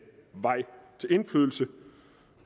vej til indflydelse